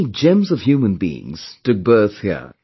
Many gems of human beings took birth here